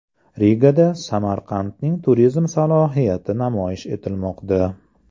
Rigada Samarqandning turizm salohiyati namoyish etilmoqda.